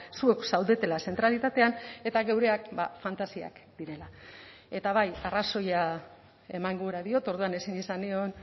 zuek zaudetela zentralitatean eta geureak fantasiak direla eta bai arrazoia eman gura diot orduan ezin izan nion